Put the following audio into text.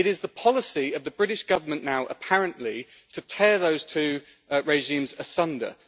It is the policy of the British Government now, apparently, to tear those two regimes asunder.